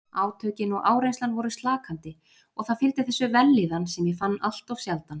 Átökin og áreynslan voru slakandi og það fylgdi þessu vellíðan sem ég fann alltof sjaldan.